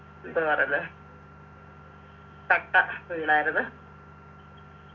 എന്ത് പറയന്നെ കട്ട വീണായിരുന്നു